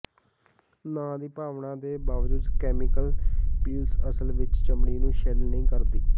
ਨਾਂ ਦੀ ਭਾਵਨਾ ਦੇ ਬਾਵਜੂਦ ਕੈਮੀਕਲ ਪੀਲਸ ਅਸਲ ਵਿਚ ਚਮੜੀ ਨੂੰ ਛਿੱਲ ਨਹੀਂ ਕਰਦੀ